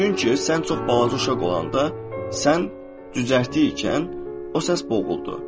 Çünki sən çox balaca uşaq olanda, sən cücərtib ikən o səs boğuldu.